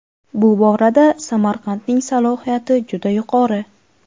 bu borada Samarqandning salohiyati juda yuqori.